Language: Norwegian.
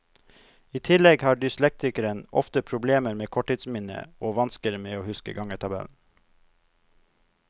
I tillegg har dyslektikeren ofte problemer med korttidsminnet og vansker med å huske gangetabellen.